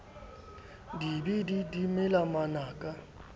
di be di mela manaka